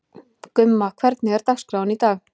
Gumma, hvernig er dagskráin í dag?